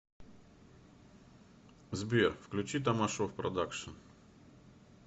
сбер включи тамашов продакшен